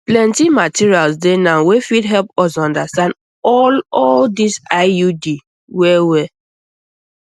plenty materials dey now wey fit help us understand all all this iud wellwell